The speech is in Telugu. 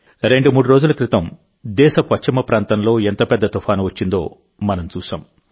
రెండుమూడు రోజుల క్రితందేశ పశ్చిమ ప్రాంతంలో ఎంత పెద్ద తుఫాను వచ్చిందో మనం చూశాం